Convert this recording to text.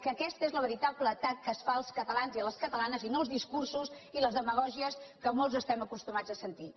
que aquest és el veritable atac que es fa als catalans i a les catalanes i no els discursos i les demagògies que molts estem acostumats a sentir